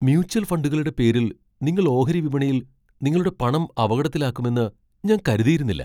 Mutual ഫണ്ടുകളുടെ പേരിൽ നിങ്ങൾ ഓഹരി വിപണിയിൽ നിങ്ങളുടെ പണം അപകടത്തിലാക്കുമെന്ന് ഞാൻ കരുതിയിരുന്നില്ല.